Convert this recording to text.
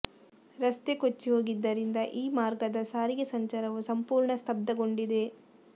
ರಸ್ತೆ ಕೊಚ್ಚಿ ಹೋಗಿದ್ದರಿಂದ ಈ ಮಾರ್ಗದ ಸಾರಿಗೆ ಸಂಚಾರವು ಸಂಪೂರ್ಣ ಸ್ತಬ್ಧಗೊಂಡಿದೆ